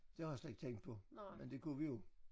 Det har jeg slet ikke tænkt på men det kunne vi jo